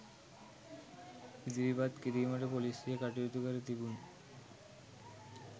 ඉදිරිපත් කිරීමට පොලීසිය කටයුතු කර තිබුණි